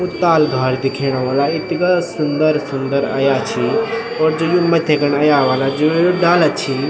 उ ताल घार दिखेणा वाला इथगा सुन्दर सुन्दर अयां छी और जू यु मथ्थी खन अयां वाला जू यु डाला छी।